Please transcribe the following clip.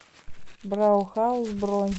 браухаус бронь